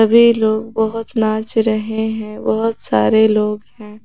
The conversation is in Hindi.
वे लोग बहुत नाच रहे हैं बहुत सारे लोग हैं।